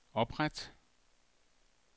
opret